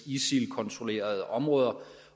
isil kontrollerede områder